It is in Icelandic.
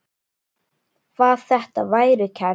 Var þetta værukærð?